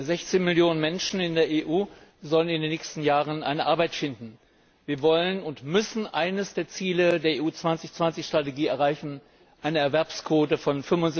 16 Millionen Menschen in der EU sollen in den nächsten Jahren eine Arbeit finden. Wir wollen und müssen eines der Ziele der EU 2020 Strategie erreichen eine Erwerbsquote von